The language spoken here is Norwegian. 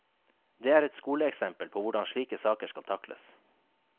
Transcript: Det er et skoleeksempel på hvordan slike saker skal takles.